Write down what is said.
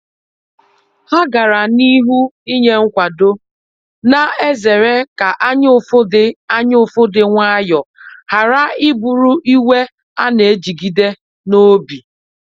Ha gara n’ihu inye nkwado, na ezere ka anyaụfụ di anyaụfụ di nwayọ ghara bụrụ iwe a na ejigide n’obi.